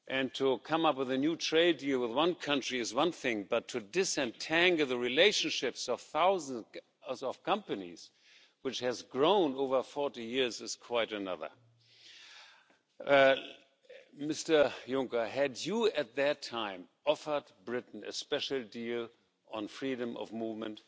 To come up with a new trade deal with one country is one thing, but to disentangle the relationships of thousands of companies, which have grown over 40 years, is quite another. Mr Juncker, had you at the time offered Britain a special deal on freedom of movement,